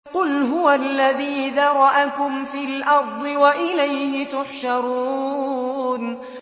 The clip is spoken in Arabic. قُلْ هُوَ الَّذِي ذَرَأَكُمْ فِي الْأَرْضِ وَإِلَيْهِ تُحْشَرُونَ